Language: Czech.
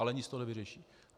Ale nic to nevyřeší.